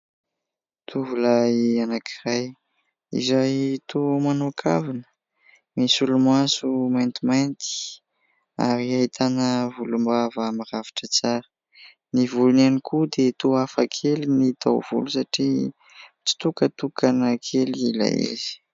Tovolahy anankiray izay toa manao kavina, misolomoaso maintimainty. Ary ahitàna volombava mirafitra tsara. Ny volony ihany koa dia toa hafa kely ny taovolo satria mitsitokatokana kely ilay izy.